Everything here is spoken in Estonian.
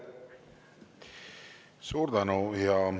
Suur tänu!